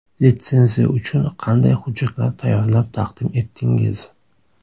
Litsenziya uchun qanday hujjatlar tayyorlab taqdim etdingiz?